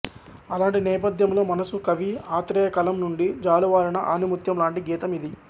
అలాంటి నేపథ్యంలో మనసు కవి ఆత్రేయ కలం నుండి జాలువారిన ఆణిముత్యం లాంటి గీతం ఇది